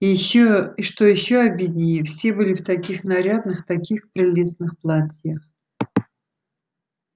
и что ещё обиднее все были в таких нарядных таких прелестных платьях